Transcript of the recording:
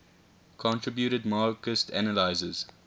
contributed marxist analyses